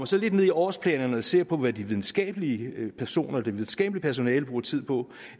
så lidt ned i årsplanerne og ser på hvad de videnskabelige personer det videnskabelige personale bruger tid på